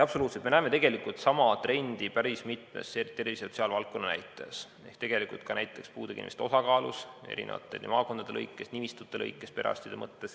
Absoluutselt, me näeme tegelikult sama trendi päris mitmes tervishoiu‑ ja sotsiaalvaldkonna näitajas, ka näiteks puudega inimeste osakaalus maakondade lõikes ja perearstide nimistute lõikes.